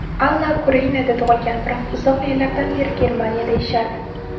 Alla Ukrainada tug‘ilgan, biroq uzoq yillardan beri Germaniyada yashardi.